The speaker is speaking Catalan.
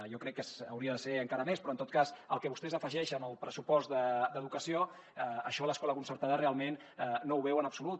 jo crec que hauria de ser encara més però en tot cas el que vostès afegeixen al pressupost d’educació això l’escola concertada realment no ho veu en absolut